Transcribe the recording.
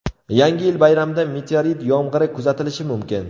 Yangi yil bayramida meteorit yomg‘iri kuzatilishi mumkin.